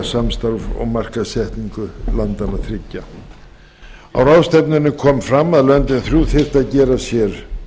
samstarf og markaðssetningu landanna þriggja á ráðstefnunni kom fram að löndin þrjú þyrftu að gera sér